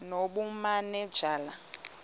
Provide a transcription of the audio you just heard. nobumanejala